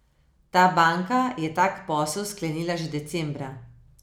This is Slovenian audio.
Ta banka je tak posel sklenila že decembra.